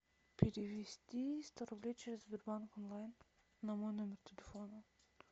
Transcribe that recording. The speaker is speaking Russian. перевести сто рублей через сбербанк онлайн на мой номер телефона